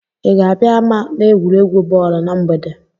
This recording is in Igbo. Ị ga-abịa ama n'egwuregwu bọọlụ na mgbede?